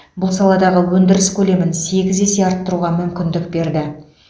бұл саладағы өндіріс көлемін сегіз есе арттыруға мүмкіндік берді